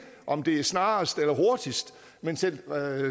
om det er snarest eller hurtigst men selv